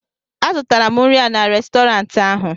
a zụtara m nri a n'Restọrantị ahụ